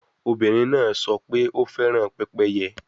Obinrin naa sọ pe o fẹran pepeye